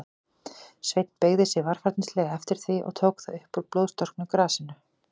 Sveinn beygði sig varfærnislega eftir því, og tók það upp úr blóðstorknu grasinu.